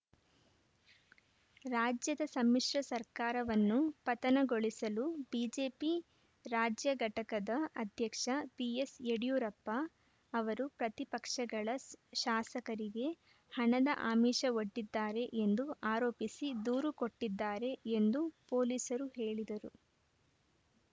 ರಾಜ್ಯದ ಸಮ್ಮಿಶ್ರ ಸರ್ಕಾರವನ್ನು ಪತನಗೊಳಿಸಲು ಬಿಜೆಪಿ ರಾಜ್ಯ ಘಟಕದ ಅಧ್ಯಕ್ಷ ಬಿಎಸ್‌ಯಡಿಯೂರಪ್ಪ ಅವರು ಪ್ರತಿಪಕ್ಷಗಳ ಶಾಸಕರಿಗೆ ಹಣದ ಆಮಿಷವೊಡ್ಡಿದ್ದಾರೆ ಎಂದು ಆರೋಪಿಸಿ ದೂರು ಕೊಟ್ಟಿದ್ದಾರೆ ಎಂದು ಪೊಲೀಸರು ಹೇಳಿದರು